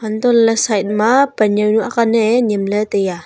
tohley side ma panjuanu aak nan ai nyemley tai aa.